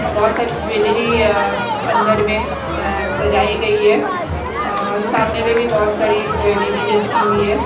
और बहोत सारी ज्वेलरी अह अंदर में अह सजाई गई है और सामने में भी बहोत सारी ज्वेलरी रखी हुई है।